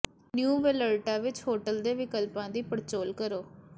new Vallarta ਵਿੱਚ hotel ਦੇ ਵਿਕਲਪਾਂ ਦੀ ਪੜਚੋਲ ਕਰੋ